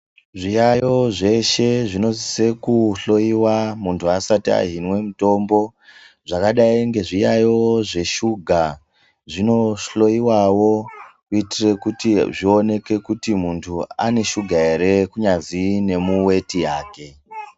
Zviyaiyo zveshe zvinosisa kuhloyiwa muntu asati ahinwe mutombo zvakadai ngezviyaiyo zveshuga zvinohloyiwawo kuitire kuti zvioneke muntu une shuga ere kunyazwi nemuweti yake.